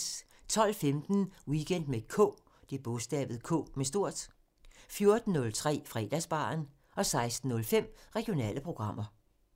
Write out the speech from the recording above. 12:15: Weekend med K 14:03: Fredagsbaren 16:05: Regionale programmer